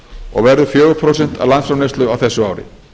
og verður fjögur prósent af landsframleiðsla á þessu ári